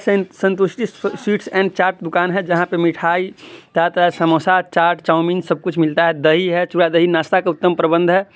संत-संतुष्टि sweets and chart दुकान है जहाँ पे मिठाई चा ता समोसा चाट चाऊमीन सब कुछ मिलता है दही है दही नाश्ता का उत्तम प्रबंध है।